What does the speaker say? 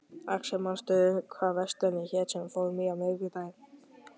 Axel, manstu hvað verslunin hét sem við fórum í á miðvikudaginn?